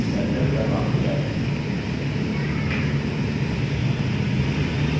terminal पर वापस जाते हैं